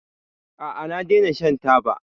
A'a, na daina shan taba.